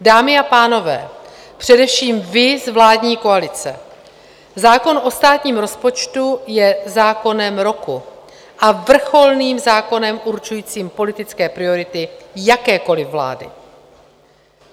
Dámy a pánové, především vy z vládní koalice, zákon o státním rozpočtu je zákonem roku a vrcholným zákonem určujícím politické priority jakékoliv vlády.